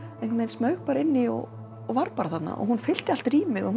smaug bara inn í og var bara þarna og hún fyllti allt rýmið og